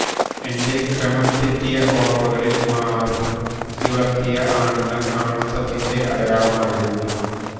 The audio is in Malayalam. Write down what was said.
എന്റെ ക്രമം തെറ്റിയ ഓര്മ്മകളില് മാറ് നിവര്ത്തിയ ആണുങ്ങള് ആണത്തത്തിന്റെ അടയാളമായിരുന്നു